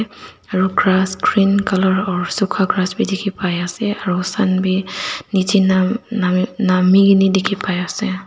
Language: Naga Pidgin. aru grass green colour aro suka grass bi dikhipaiase aro sun bi nichae na na nami kaena dikhipai ase.